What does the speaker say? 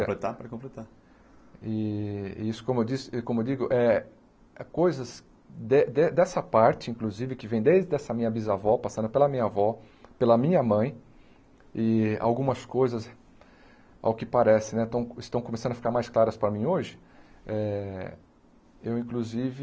Quer completar pode completar E isso, como eu disse como eu digo,é é coisas de de dessa parte, inclusive, que vem desde essa minha bisavó, passando pela minha avó, pela minha mãe, e algumas coisas, ao que parece né, estão estão começando a ficar mais claras para mim hoje, eh eu, inclusive,